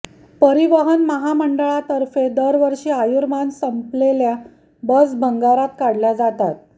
परिवहन महामंडळातर्फे दरवर्षी आयुर्मान संपलेल्या बस भंगारात काढल्या जातात